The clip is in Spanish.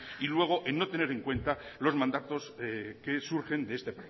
y luego en no tener en cuenta los mandatos que surgen de este